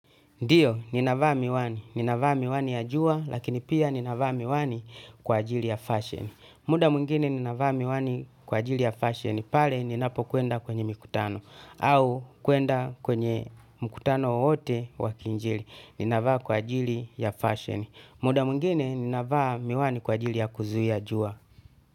Ndio, ninavaa miwani. Ninavaa miwani ya jua, lakini pia ni navaa miwani kwa ajili ya fashion. Muda mwingine ninavaa miwani kwa ajili ya fashion, pale ninapo kwenda kwenye mikutano. Au kuenda kwenye mkutano wowote wakiinjili. Ni navaa kwa ajili ya fashion. Muda mwingine ninavaa miwani kwa ajili ya kuzuia jua.